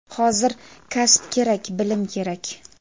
Hozir kasb kerak, bilim kerak!.